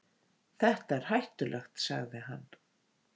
Þetta er hættulegt, sagði hann.